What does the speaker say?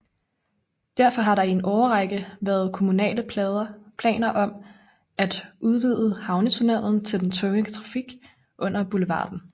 Derfor har der i en årrække været kommunale planer om at udvide havnetunnellen til den tunge trafik under boulevarden